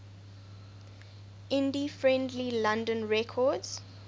indie friendly london records